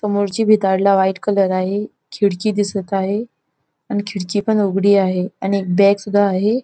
समोरची भिताडला white colour आहे खिडकी दिसत आहे अन खिडकी पण उघडी आहे आणि एक बॅग सुद्धा आहे.